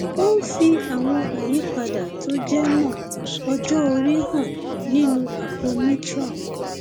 ó ń fi àwọn àyípadà tó jẹ mọ ọjọ orí hàn nínú àpò mitral